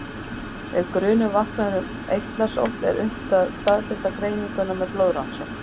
Ef grunur vaknar um eitlasótt er unnt að staðfesta greininguna með blóðrannsókn.